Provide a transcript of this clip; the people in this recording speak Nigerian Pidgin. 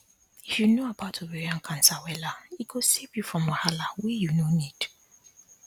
if you know about ovarian cancer wella e go save you from wahala wey you no need